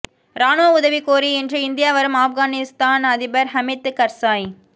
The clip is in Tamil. ராணுவ உதவி கோரி இன்று இந்தியா வரும் ஆப்கானிஸ்தான் அதிபர் ஹமீத் கர்சாய்